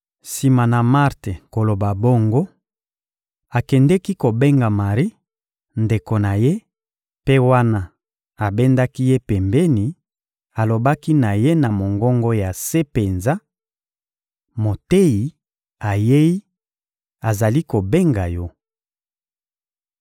Sima na Marte koloba bongo, akendeki kobenga Mari, ndeko na ye; mpe wana abendaki ye pembeni, alobaki na ye na mongongo ya se penza: — Moteyi ayei, azali kobenga yo.